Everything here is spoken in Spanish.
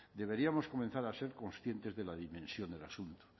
deberíamos comenzar a ser conscientes de la dimensión del asunto